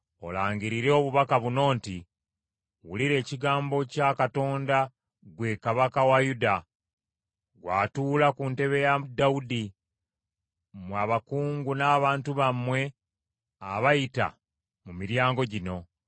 olangirire obubaka buno nti, Wulira ekigambo kya Katonda ggwe kabaka wa Yuda, ggw’atuula ku ntebe ya Dawudi, mmwe abakungu n’abantu bammwe abayita mu miryango gino.